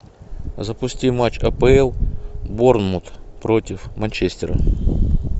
запусти матч апл борнмут против манчестера